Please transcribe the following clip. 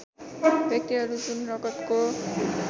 व्यक्तिहरू जुन रगतको